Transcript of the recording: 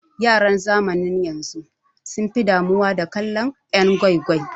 Yaran zamanin yanzu sun fi damuwa da kallon yan' gwai gwai.